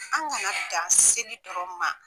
An kana dan seli dɔrɔn ma.